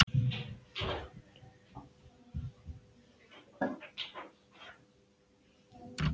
Og þess utan varðstu bara að vera í köldum raunveruleikanum.